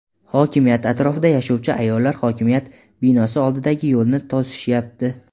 Hokimiyat atrofida yashovchi ayollar hokimiyat binosi oldidagi yo‘lni to‘sishyapti.